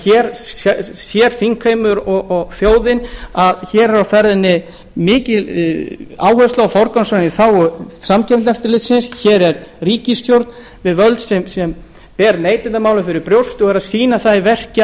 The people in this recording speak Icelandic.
hér sér því þingheimur og þjóðin að hér er á ferðinni mikil áhersla á forgangsröðun í þágu samkeppniseftirlitsins hér er ríkisstjórn við völd sem ber neytendamálin fyrir brjósti og er að sýna það í verki að